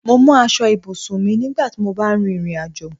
Mo mú aṣọ ibùsùn mi nígbà tí mó bá ń rìn ìrìnàjò